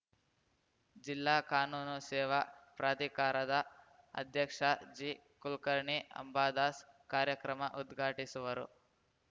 ಜಿಲ್ಲಾ ಕಾನೂನು ಸೇವಾ ಪ್ರಾಧಿಕಾರದ ಅಧ್ಯಕ್ಷ ಜಿಕುಲಕರ್ಣಿ ಅಂಬಾದಾಸ್‌ ಕಾರ್ಯಕ್ರಮ ಉದ್ಘಾಟಿಸುವರು